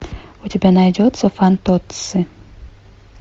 у тебя найдется фантоцци